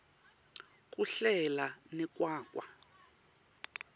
kuhlela nekwakha